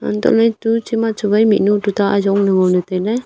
hantoh ley tu che ma chu wai mihnu tuta ajong ley ngo ley tai ley.